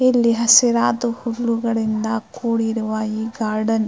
ಇಲ್ಲಿ ಹಸಿರಾದ ಹೂಗಳಿಂದ ಕೂಡಿರುವ ಈ ಗಾರ್ಡನ್ .